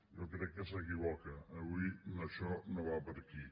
jo crec que s’equivoca avui això no va per aquí